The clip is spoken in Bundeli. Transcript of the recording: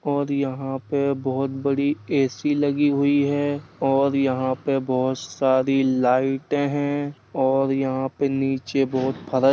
और यहाँ पे बहोत बड़ी ए.सी. लगी हुई है और यहाँ पे बोहोत सारी लाइटें हैं और यहाँ पे नीचे बोहोत फ --